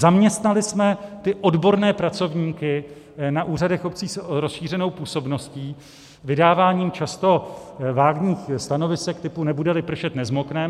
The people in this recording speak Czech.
Zaměstnali jsme odborné pracovníky na úřadech obcí s rozšířenou působností vydáváním často vágních stanovisek typu nebude-li pršet, nezmokneme.